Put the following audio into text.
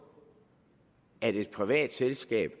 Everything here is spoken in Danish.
at et privat selskab